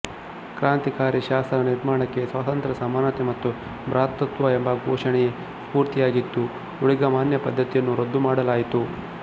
ಕ್ರಾಂತಿಕಾರಿ ಶಾಸನ ನಿರ್ಮಾಣಕ್ಕೆ ಸ್ವಾತಂತ್ರ್ಯ ಸಮಾನತೆ ಮತ್ತು ಭ್ರಾತೃತ್ವ ಎಂಬ ಘೋಷಣೆಯೇ ಸ್ಫೂರ್ತಿಯಾಗಿತ್ತು ಊಳಿಗಮಾನ್ಯ ಪದ್ಧತಿಯನ್ನು ರದ್ದುಮಾಡಲಾಯಿತು